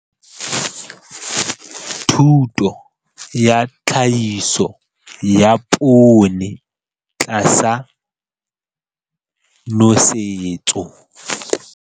Thuto ya Tlhahiso ya Poone tlasa Nosetso.